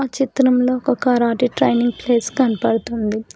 చిత్రంలో ఒక karate training place కనపడుతుంది.